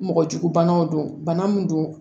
Mɔgɔ jugu banaw don bana min don